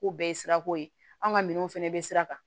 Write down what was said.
K'o bɛɛ ye sirako ye an ka minɛnw fana bɛ sira kan